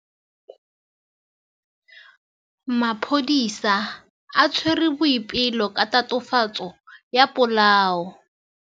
Maphodisa a tshwere Boipelo ka tatofatsô ya polaô.